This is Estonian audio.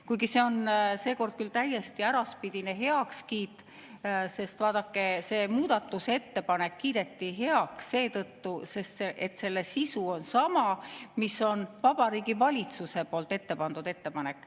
Kuigi see on seekord küll täiesti äraspidine heakskiit, sest vaadake, see muudatusettepanek kiideti heaks seetõttu, et selle sisu on sama, mis on Vabariigi Valitsuse ettepanek.